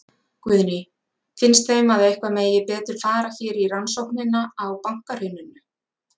Guðný: Finnst þeim að eitthvað megi betur fara hér í rannsóknina á bankahruninu?